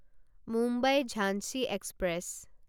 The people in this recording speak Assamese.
মুম্বাই ঝাঞ্চি এক্সপ্ৰেছ